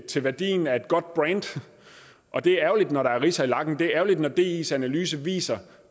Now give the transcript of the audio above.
til værdien af et godt brand og det er ærgerligt når der er ridser i lakken det er ærgerligt når dis analyse viser